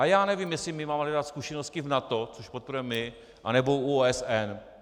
A já nevím, jestli my máme hledat zkušenosti v NATO, což podporujeme my, anebo u OSN.